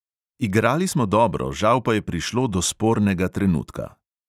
Igrali smo dobro, žal pa je prišlo do spornega trenutka.